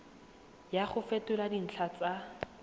ya go fetola dintlha tsa